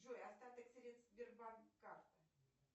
джой остаток средств сбербанк карта